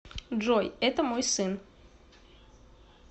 джой это мой сын